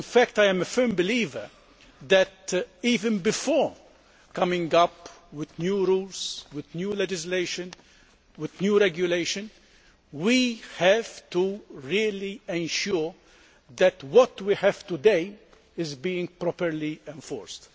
I am a firm believer that, even before coming up with new rules, new legislation and new regulation, we have to really ensure that what we have today is being properly enforced.